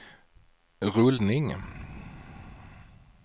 rullning